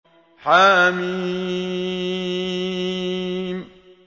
حم